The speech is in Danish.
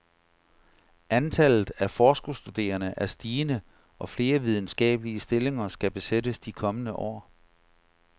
Antallet af forskerstuderende er stigende, og flere videnskabelige stillinger skal besættes de kommende år.